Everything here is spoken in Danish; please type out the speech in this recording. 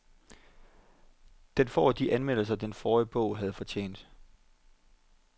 Den får de anmeldelser, den forrige bog havde fortjent.